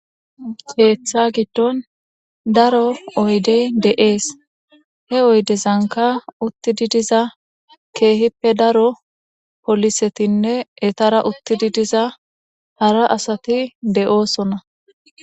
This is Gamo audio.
Keeththa giddon daro oydey de7ees he oydezanka uttidi diza keehippe daro polisetinne etara uttidi diza hara asati de7oosona